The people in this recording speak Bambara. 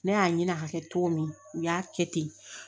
Ne y'a ɲini a ka kɛ cogo min u y'a kɛ ten